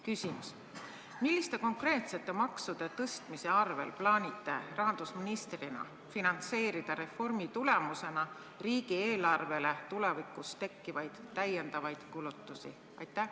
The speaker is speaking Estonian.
Küsimus: milliste konkreetsete maksude tõstmise abil te plaanite rahandusministrina katta reformi tagajärjel riigieelarves tulevikus tekkivaid täiendavaid kulutusi?